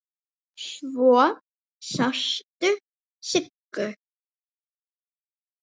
Svo sástu Siggu.